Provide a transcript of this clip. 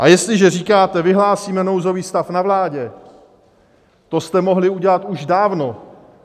A jestliže říkáte: Vyhlásíme nouzový stav na vládě, to jste mohli udělat už dávno.